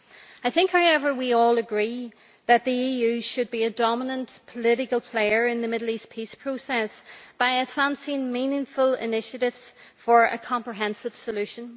I think, however, we all agree that the EU should be a dominant political player in the Middle East peace process by advancing meaningful initiatives for a comprehensive solution.